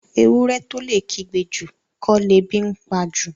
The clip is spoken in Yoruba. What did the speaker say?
Ewúrẹ́ tó lè kígbe jù, kọ́ lebi ńpa jù.